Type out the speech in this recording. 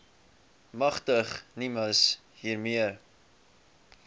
magtig nimas hiermee